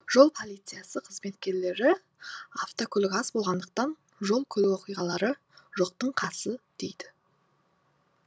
жол полициясы қызметкерлері автокөлік аз болғандықтан жол көлік оқиғалары жоқтың қасы дейді